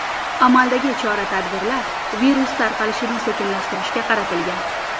Amaldagi chora-tadbirlar virus tarqalishini sekinlashtirishga qaratilgan.